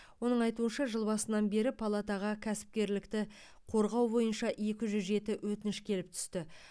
оның айтуынша жыл басынан бері палатаға кәсіпкерлікті қорғау бойынша екі жүз жеті өтініш келіп түсті